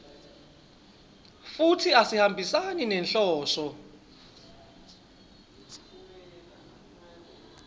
futsi asihambisani nenhloso